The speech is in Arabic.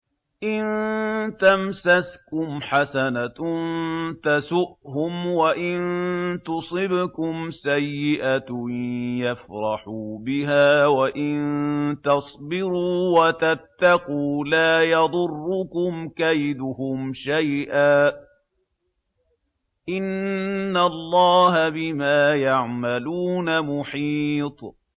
إِن تَمْسَسْكُمْ حَسَنَةٌ تَسُؤْهُمْ وَإِن تُصِبْكُمْ سَيِّئَةٌ يَفْرَحُوا بِهَا ۖ وَإِن تَصْبِرُوا وَتَتَّقُوا لَا يَضُرُّكُمْ كَيْدُهُمْ شَيْئًا ۗ إِنَّ اللَّهَ بِمَا يَعْمَلُونَ مُحِيطٌ